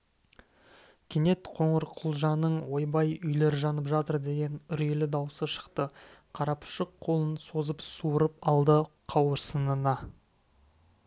кенет қоңырқұлжаның ойбай үйлер жанып жатыр деген үрейлі даусы шықты қарапұшық қолын созып суырып алды қауырсынына